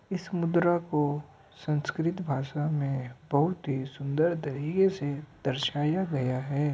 इस मुद्रा को संस्कृत भाषा में बोहोत ही सुंदर तरीके से दर्शाया गया है।